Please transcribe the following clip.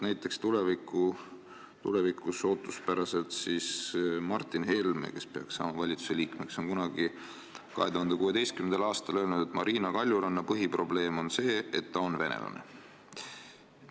Näiteks Martin Helme, kellest ootuspäraselt saab peagi meie valitsuse liige, on 2016. aastal öelnud, et Marina Kaljuranna põhiprobleem on see, et ta on venelane.